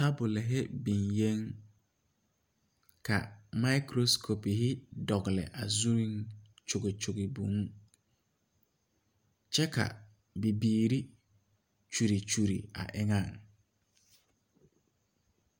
Deɛn kyɛ bee nimipɛle la ka bipɔlbilii be paki poɔ a deɛnɛ a deɛn ŋa ba naŋ deɛnɛ waa la bɔle ngmɛɛbo ka bidɔɔlee kaŋ pãã ngmɛ a bɔl yaga zaa koo do saa kyɛ ka o taa ba na meŋ pãã kara a bɔl.